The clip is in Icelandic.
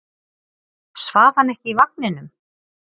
Svaf hann ekki í vagninum?